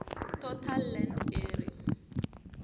total land area